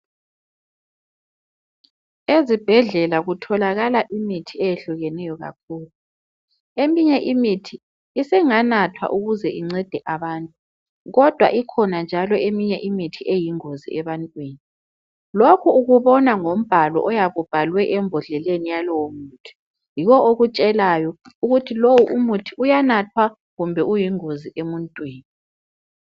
Ezibhedlela kutholakala imithi eyehlukeneyo kakhulu eminye imithi isinganathwa ukuze incede abantu kodwa kukhona njalo eminye imithi eyingozi ebantwini lokhu ukubona ngombalo oyabe ubhalwe embodleni yalowo muthi yiwo okutshelayo ukuthi lowu muthi uyanathwa kumbe uyingozi emuntwini